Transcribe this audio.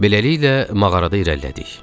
Beləliklə, mağarada irəlilədik.